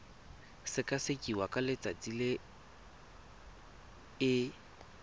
sekasekiwa ka letsatsi le e